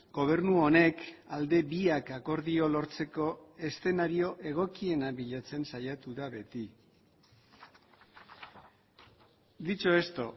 gobernu honek alde biak akordio lortzeko eszenario egokiena bilatzen saiatu da beti dicho esto